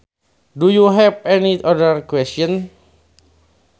Do you have any other questions